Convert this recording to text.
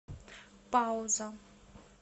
пауза